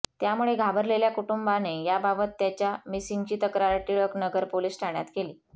त्यामुळे घाबरलेल्या कुटुंबाने याबाबत त्याच्या मिसिंगची तक्रार टिळक नगर पोलीस ठाण्यात केली